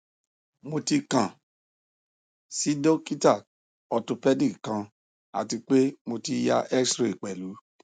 mo ti kan si dokita orthopedic kan ati pe mo ti ya xray pẹlu